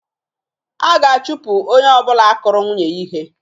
A ga-achụpụ onye ọbụla kụrụ nwunye ya ihe